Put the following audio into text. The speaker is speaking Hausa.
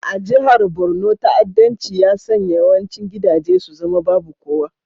A jihar Borno, ta'addanci ya sanya yawancin gidaje su zama babu kowa.